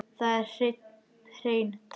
Þetta eru hrein tár.